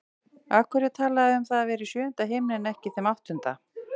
Af hverju er talað um að vera í sjöunda himni en ekki þeim áttunda?